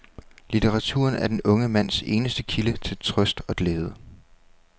Litteraturen er den unge mands eneste kilde til trøst og glæde.